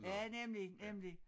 Ja nemlig nemlig